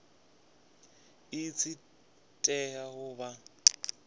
i tshi tea u vha